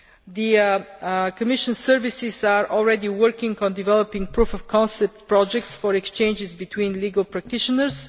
The Commission services are already working on developing proof of concept projects for exchanges between legal practitioners.